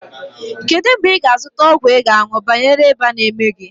Kedụ mgbe ị ga a zụta ọgwụ ị ga aṅụ banyere ịba n'eme gị?